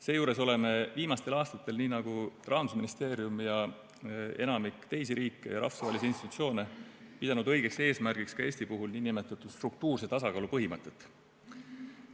Seejuures oleme viimastel aastatel nii nagu ka Rahandusministeerium ja enamik teisi riike ja rahvusvahelisi institutsioone pidanud õigeks eesmärgiks ka Eesti puhul nn struktuurse tasakaalu põhimõtet.